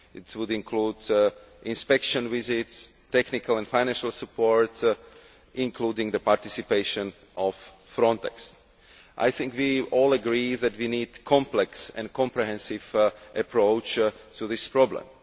It would include inspection visits, technical and financial support, including the participation of Frontex. I think we all agree that we need a complex and comprehensive approach to this problem.